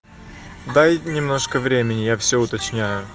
дай немножко времени я все уточняю